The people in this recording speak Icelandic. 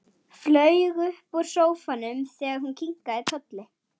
Flaug upp úr sófanum þegar hún kinkaði kolli.